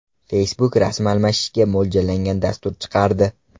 Facebook rasm almashishga mo‘ljallangan dastur chiqardi.